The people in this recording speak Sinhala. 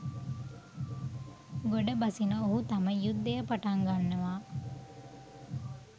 ගොඩ බසින ඔහු තම යුද්ධය පටන් ගන්නවා